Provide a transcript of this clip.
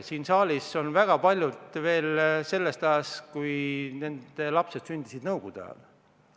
Siin saalis on väga paljudel lapsed sündinud nõukogude ajal.